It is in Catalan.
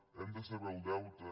hem de saber el deute